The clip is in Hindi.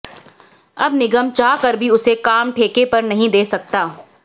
अब निगम चाह कर भी उसे काम ठेके पर नहीं दे सकता